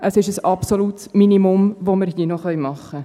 Es ist ein absolutes Minimum, das wir hier noch tun können.